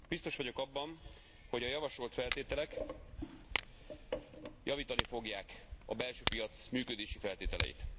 Biztos vagyok abban, hogy a javasolt feltételek javítani fogják a belső piac működési feltételeit.